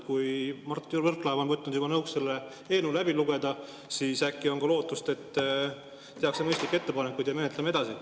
Kui juba Mart Võrklaev on võtnud nõuks selle eelnõu läbi lugeda, siis äkki on ka lootust, et tehakse mõistlikke ettepanekuid ja menetleme edasi.